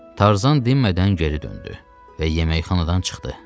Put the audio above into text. Tarzan dinmədən geri döndü və yeməkxanadan çıxdı.